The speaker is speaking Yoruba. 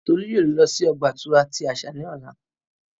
Tolu yoo lọ si ọgba-ìturá ti asa ni ọla.